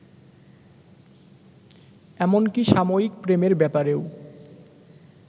এমনকি সাময়িক প্রেমের ব্যাপারেও